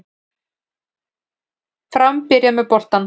Fram byrjar með boltann